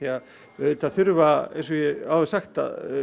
auðvitað þurfa eins og ég hef áður sagt